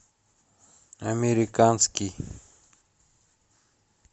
американский